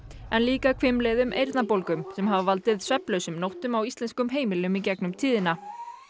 en líka hvimleiðum eyrnabólgum sem hafa valdið svefnlausum nóttum á íslenskum heimilum í gegnum tíðina